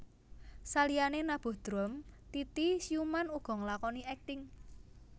Saliyane nabuh drum Titi Sjuman uga nglakoni akting